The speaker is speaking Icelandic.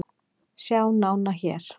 Sjá nána hér